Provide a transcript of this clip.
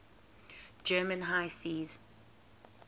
german high seas